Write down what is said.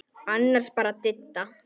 Annars bara Didda.